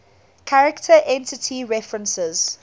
character entity references